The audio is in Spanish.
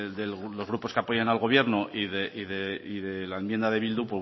de los grupos que apoyan al gobierno y de la enmienda de bildu